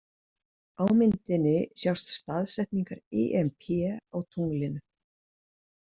Á myndinni sjást Staðsetningar IMP á tunglinu.